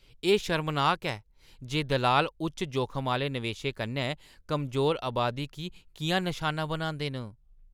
एह् शर्मनाक ऐ जे दलाल उच्च जोखम आह्‌ले नवेशें कन्नै कमजोर अबादी गी किʼयां नशाना बनांदे न।